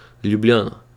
Ljubljana.